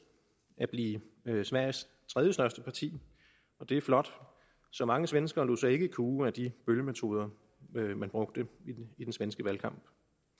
at blive sveriges tredjestørste parti og det er flot så mange svenskere lod sig ikke kue af de bøllemetoder man brugte i den svenske valgkamp